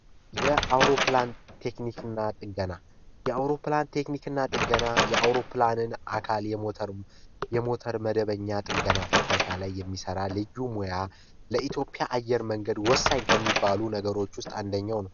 የአውሮፕላን ቴክኒክና ጥገና የአውሮፕላን ቴክኒክና ጥገና የአውሮፕላንን አካል ጥገና ፍተሻ ላይ የሚሰራ ልዩ ሙያ ለኢትዮጵያ አየር መንገድ ወሳኝ ከሚባሉ ነገሮች ውስጥ አንደኛው ነው።